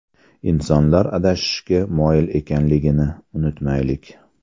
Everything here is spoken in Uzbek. Insonlar adashishga moyil ekanligini unutmaylik.